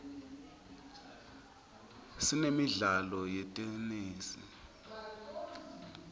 sinemidlalo yetenesi